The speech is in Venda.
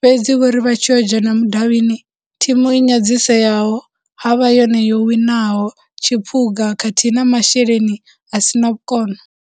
fhedzi vho ri vha tshi yo dzhena mudavhini thimu i nyadziseayaho havha yone yo winaho tshiphuga khathihi na masheleni a sina vhukono.